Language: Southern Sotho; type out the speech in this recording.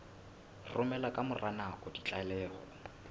romela ka mora nako ditlaleho